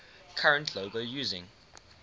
current logo using